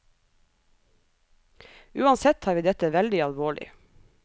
Uansett tar vi dette veldig alvorlig.